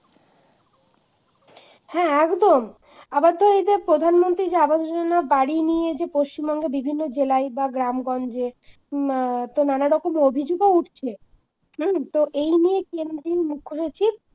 হ্যাঁ একদম আবার ধর এই যে প্রধানমন্ত্রী যে আবাস যোজনা বাড়ি নিয়ে যে পশ্চিমবঙ্গে বিভিন্ন জেলায় বা গ্রামগঞ্জে হম তো নানা রকম অভিযোগ উঠছে হম তো এই নিয়ে কেন্দ্রীয় মুখ্য সচিব